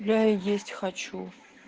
я есть хочу